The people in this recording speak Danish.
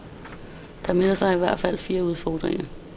Der melder sig i hvert fald fire udfordringer.